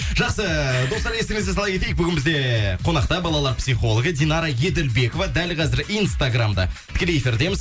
жақсы достар естеріңізге сала кетейік бүгін бізде қонақта балалар психологы динара еділбекова дәл қазір инстаграмда тікелей эфирдеміз